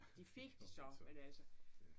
Det fik de så men altså